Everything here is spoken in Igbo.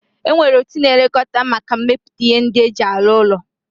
Enwere otu na-elekota maka mmeputa ihe ndi e ji arụ ụlọ